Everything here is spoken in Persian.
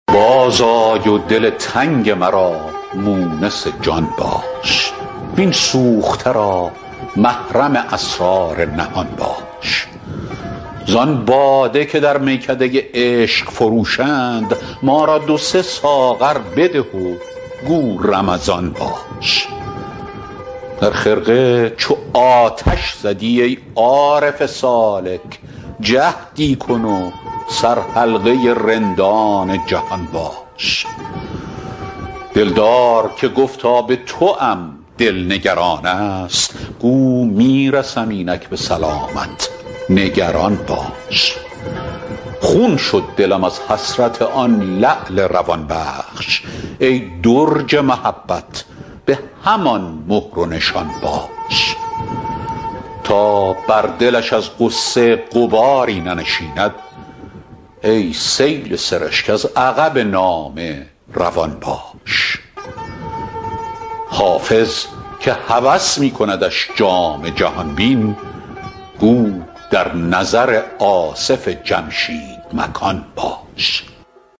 باز آی و دل تنگ مرا مونس جان باش وین سوخته را محرم اسرار نهان باش زان باده که در میکده عشق فروشند ما را دو سه ساغر بده و گو رمضان باش در خرقه چو آتش زدی ای عارف سالک جهدی کن و سرحلقه رندان جهان باش دلدار که گفتا به توام دل نگران است گو می رسم اینک به سلامت نگران باش خون شد دلم از حسرت آن لعل روان بخش ای درج محبت به همان مهر و نشان باش تا بر دلش از غصه غباری ننشیند ای سیل سرشک از عقب نامه روان باش حافظ که هوس می کندش جام جهان بین گو در نظر آصف جمشید مکان باش